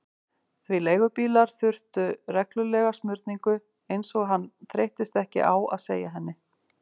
Því leigubílar þurftu reglulega smurningu, eins og hann þreyttist ekki á að segja henni.